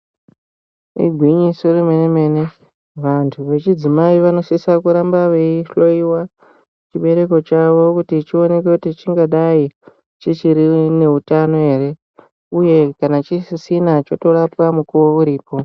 Igwinyiso remene mene vantu vechidzimai vanosisa kuramba veihloyiwa chibereko chavo kuti chioneke kuti chingadai chichiri neutano here uye kana chisisina chotorapwa mukuwo uripo.